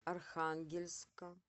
архангельска